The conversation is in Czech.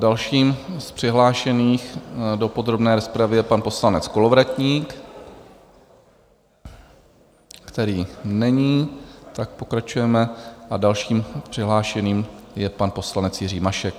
Dalším z přihlášených do podrobné rozpravy je pan poslanec Kolovratník, který není, tak pokračujeme, a dalším přihlášeným je pan poslanec Jiří Mašek.